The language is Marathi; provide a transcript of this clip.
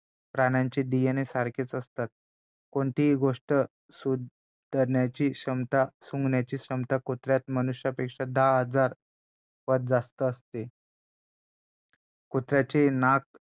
प्राण्याचे DNA सारखेचं असतात कोणतीही गोष्ट सुंधण्याची क्षमता सुंघण्याची क्षमता कुत्र्यात मनुष्यापेक्षा दहा हजार पट जास्त असते कुत्र्याचे नाक